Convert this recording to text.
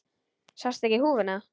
Sástu ekki húfuna?